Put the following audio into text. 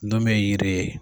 Don bɛ ye yiri ye.